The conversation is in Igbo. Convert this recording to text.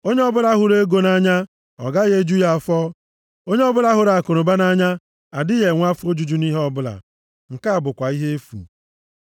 Onye ọbụla hụrụ ego nʼanya, ọ gaghị eju ya afọ. Onye ọbụla hụrụ akụnụba nʼanya adịghị enwe afọ ojuju nʼihe ọbụla. Nke a bụkwa ihe efu.